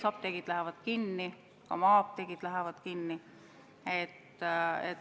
Apteegid lähevad kinni, ka maa-apteegid lähevad kinni.